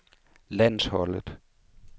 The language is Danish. landsholdet